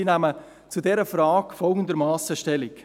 Sie nehmen zu dieser Frage folgendermassen Stellung: